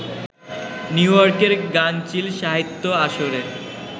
নিউইয়র্কের গাঙচিল সাহিত্য আসরের